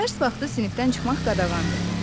Dərs vaxtı sinifdən çıxmaq qadağandır.